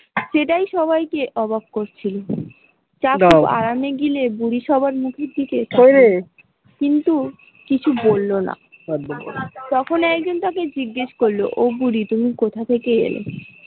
সেটাই সবাই কে অবাক করছিল, কিন্তু কিছু বলল না তখন একজন তাকে জিজ্ঞাস করলো ও বুড়ি তুমি কোথা থেকে এলে?